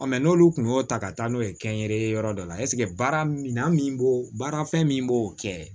mɛ n'olu kun y'o ta ka taa n'o ye kɛnyɛrɛye yɔrɔ dɔ la ɛsike baara minan min b'o baara fɛn min b'o kɛ